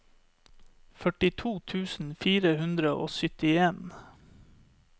førtito tusen fire hundre og syttien